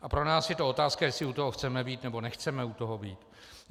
A pro nás je to otázka, jestli u toho chceme být, nebo nechceme u toho být.